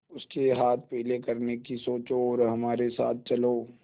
उसके हाथ पीले करने की सोचो और हमारे साथ चलो